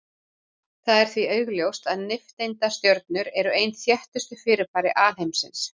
Það er því augljóst að nifteindastjörnur eru ein þéttustu fyrirbæri alheimsins.